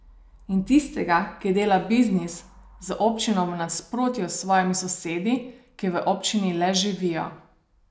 In tistega, ki dela biznis z občino v nasprotju s svojimi sosedi, ki v občini le živijo.